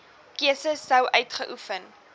keuse sou uitgeoefen